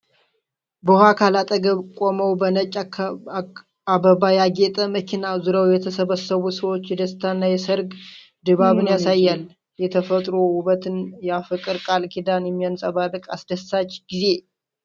በውሃ አካል አጠገብ ቆመው በነጭ አበባ ያጌጠ መኪና ዙሪያ የተሰበሰቡ ሰዎች የደስታና የሠርግ ድባብን ያሳያል። የተፈጥሮ ውበትና የፍቅር ቃል ኪዳን የሚያንጸባርቅ አስደሳች ጊዜ!